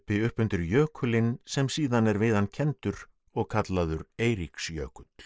upp undir jökulinn sem síðan er við hann kenndur og kallaður Eiríksjökull